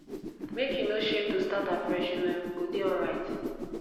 make you no shame to start afresh you um go dey alright